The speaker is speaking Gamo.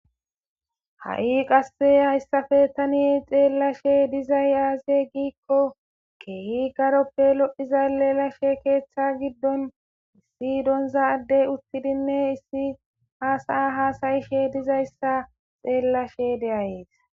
Ha'i qasse hayssafe tani xeellashe dizay aaze giikko keehi garoppe lodhiza lelashe keeththa giddon issi donzaaddey uttidinne issi haasaa haasayishe dizayssa xeellashe deayees.